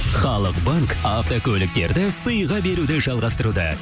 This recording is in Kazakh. халық банк автокөліктерді сыйға беруді жалғастыруда